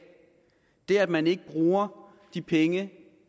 er at man ikke bruger de penge